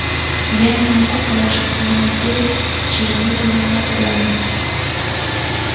я не могу положиться на людей с червивыми мозгами